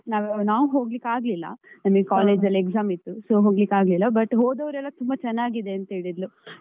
ನಾವು ಹೋಗ್ಲಿಕ್ಕಾಗ್ಲಿಲ್ಲ ನಮ್ಗೆ college ಅಲ್ಲಿ exam ಇತ್ತು , so ಹೋಗ್ಲಿಕ್ಕಾಗ್ಲಿಲ್ಲ. But ಹೋದವರೆಲ್ಲಾ ತುಂಬಾ ಚೆನ್ನಾಗಿದೆ ಅಂತ ಹೇಳಿದ್ಲು.